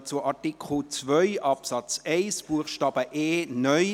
Wir kommen zu Artikel 2 Absatz 1 Buchstaben e (neu).